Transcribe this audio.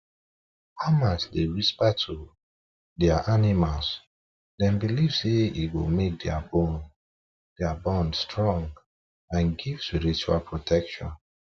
farmers dey whisper to whisper to their animals them believe say e go make their bond strong and give spiritual protection